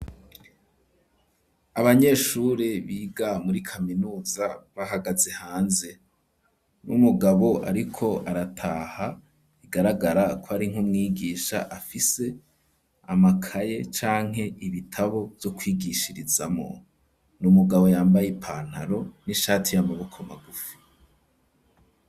Abanyeshuri biga muri kaminuza bahagaze hanze, n'umugabo ariko arataha bigaragara kw' ari nk' umwigisha afise amakaye canke ibitabo vyo kwigishirizamwo, n'umugabo yambaye ipantaro n'ishati y'amaboko magufi.